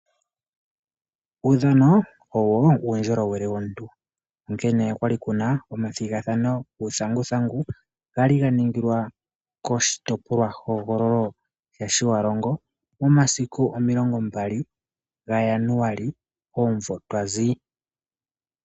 Uudhano owo uundjolowele womuntu, onkene okwali kuna omathigathano guuthanguthangu, gali ga ningilwa kOshitopolwa hogololo sha Shiwarongo omasiku omilongo mbali ga Januali, omumvo twazi.